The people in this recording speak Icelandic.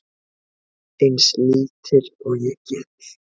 Eins lítil og ég get.